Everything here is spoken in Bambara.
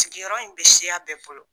Sigiyɔrɔ in bɛ siya bɛɛ bolo